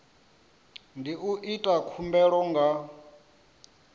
ndi u ita khumbelo nga